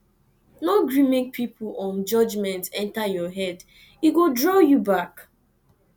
no gree make pipo um judgement enta your head e go draw you back